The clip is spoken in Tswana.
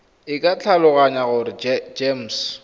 e ke tlhaloganya gore gems